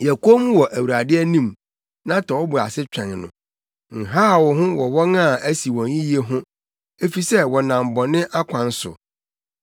Yɛ komm wɔ Awurade anim na tɔ wo bo ase twɛn no, nhaw wo ho wɔ wɔn a asi wɔn yiye ho efisɛ wɔnam bɔne akwan so.